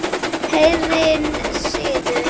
Heiðinn siður